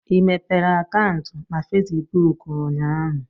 ị mepere akaụntụ na Fesibuku ụnyaahụ?